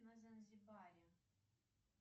на занзибаре